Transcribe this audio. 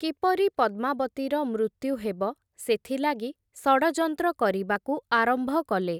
କିପରି ପଦ୍ମାବତୀର ମୃତ୍ୟୁ ହେବ ସେଥିଲାଗି ଷଡ଼ଯନ୍ତ୍ର କରିବାକୁ ଆରମ୍ଭ କଲେ ।